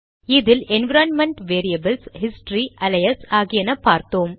இதில் environment variables history alias ஆகியன பார்த்தோம்